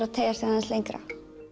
að teygja sig lengra